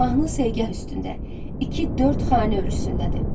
Mahnı segah üstündə iki-dörd xana ölçüsündədir.